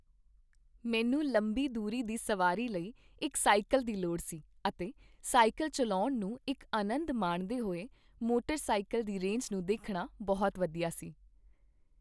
ਮੈਨੂੰ ਲੰਬੀ ਦੂਰੀ ਦੀ ਸਵਾਰੀ ਲਈ ਇੱਕ ਸਾਈਕਲ ਦੀ ਲੋੜ ਸੀ ਅਤੇ ਸਾਈਕਲ ਚੱਲਾਉਣ ਨੂੰ ਇੱਕ ਅਨੰਦ ਮਾਣਦੇ ਹੋਏ ਮੋਟਰ ਸਾਇਕਲ ਦੀ ਰੇਂਜ ਨੂੰ ਦੇਖਣਾ ਬਹੁਤ ਵਧੀਆ ਸੀ।